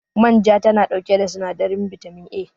Manja tana ɗauke da sinadarin bitamin A